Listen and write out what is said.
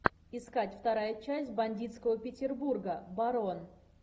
искать вторая часть бандитского петербурга барон